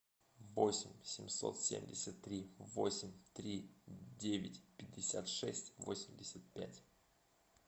восемь семьсот семьдесят три восемь три девять пятьдесят шесть восемьдесят пять